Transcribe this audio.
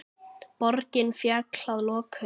Borgin féll að lokum.